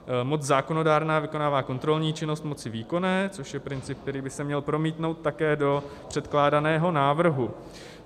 Moc zákonodárná vykonává kontrolní činnost moci výkonné, což je princip, který by se měl promítnout také do předkládaného návrhu.